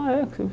Ah, é?